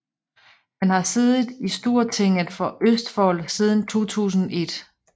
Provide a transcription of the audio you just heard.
Han har siddet i Stortinget for Østfold siden 2001